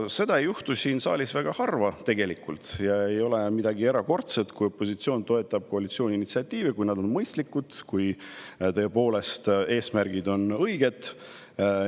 Seda ei juhtu tegelikult siin saalis väga harva ja see ei ole midagi erakordset, kui opositsioon toetab koalitsiooni initsiatiivi, kui see on mõistlik ja kui eesmärgid on tõepoolest õiged.